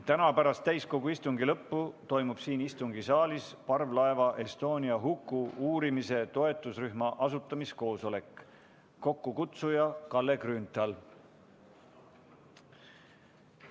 Täna pärast täiskogu istungi lõppu toimub siin istungisaalis parvlaeva Estonia huku uurimise toetusrühma asutamise koosolek, kokkukutsuja Kalle Grünthal.